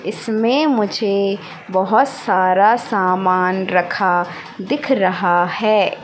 इसमें मुझे बहुत सारा सामान रखा दिख रहा है।